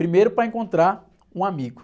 Primeiro, para encontrar um amigo.